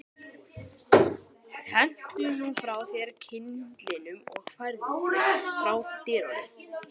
Hentu nú frá þér kyndlinum og færðu þig frá dyrunum